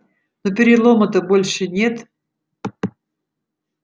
но перелома-то больше нет